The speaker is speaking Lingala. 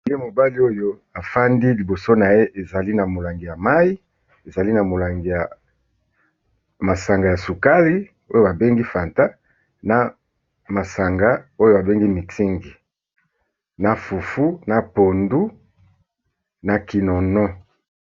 Élenge mobali oyo afandi, liboso na ye, ezali na molangi ya mayi, ezali na molangi ya masanga ya sukali , oyo ba bengi fanta, na masanga oyo ba bengi mützingi na fufu na pondu na kinono.